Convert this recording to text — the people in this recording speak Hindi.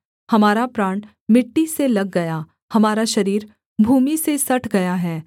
हमारा प्राण मिट्टी से लग गया हमारा शरीर भूमि से सट गया है